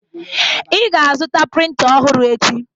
Ị ga-azụta printa ọhụrụ echi!